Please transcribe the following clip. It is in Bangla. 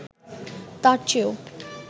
তার চেয়েও